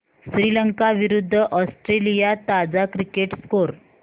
श्रीलंका विरूद्ध ऑस्ट्रेलिया ताजा cricket score